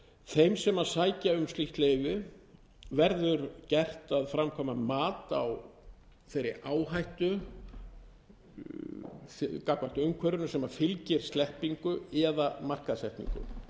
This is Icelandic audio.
þeim sem sækja um slíkt leyfi verður gert að framkvæma mat á þeirri áhættu gagnvart umhverfinu sem fylgir sleppingu eða markaðssetningu